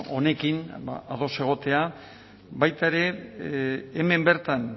honekin ados egotea baita ere hemen bertan